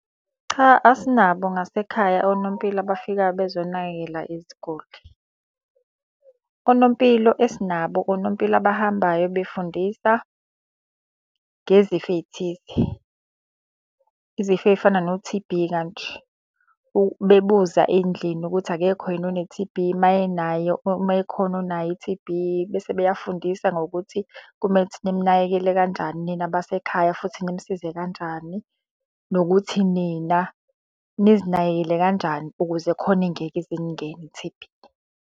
Cha asinabo ngasekhaya onompilo abafikayo bezonakekela iziguli. Onompilo esinabo, onompilo abahambayo befundisa ngezifo ey'thile, izifo ey'fana no-T_B kanje. Bebuza endlini ukuthi akekho yini one-T_B, uma enayo uma ekhona onayo i-T_B bese beyafundisa ngokuthi kumele ukuthi nimunakekele kanjani nina abasekhaya futhi nimusize kanjani. Nokuthi nina nizinakekele kanjani ukuze khona ingeke ize iningene i-T_B.